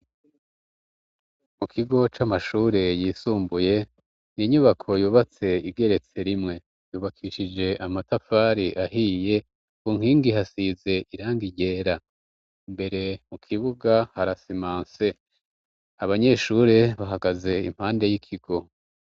Mu kigo c'amashure yisumbuye ,inyubako yubatse igeretse rimwe, yubakishije amatafari ahiye ,ku nkingi hasize irangi ryera, imbere mu kibuga harasimanse ,abanyeshure bahagaze impande y'ikigo.